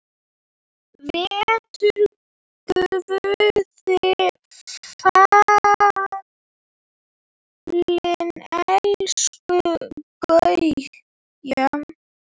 Vertu Guði falin elsku Gauja.